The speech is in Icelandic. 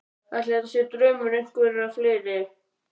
Ætli þetta sé draumur einhverra fleiri?